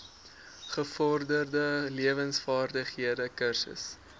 gevorderde lewensvaardighede kursus